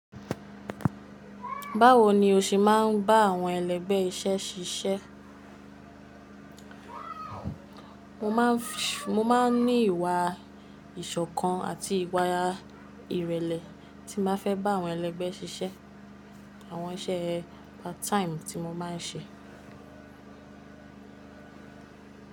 Báwo ni o se máà ń bá àwọn ẹlẹgbẹ́ iṣẹ́ ṣiṣẹ́? Mo máa ń ní ìwà ìṣọ̀kan àti ìwà ìrẹ̀lẹ̀ tí mo fẹ́ bá àwọn ẹlẹgbẹ́ ṣiṣẹ́, àwọn iṣẹ́ part time tí mo máa ń ṣe.